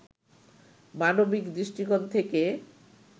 মানবিক দৃষ্টিকোণ থেকে